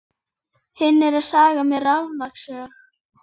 Ormur hafði lengi setið á hljóðskrafi við Ara Jónsson.